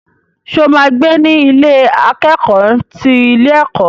Ṣo ma gbé ní Ilé akẹ́kọ̀ọ́ ti ilé ẹ̀kọ́?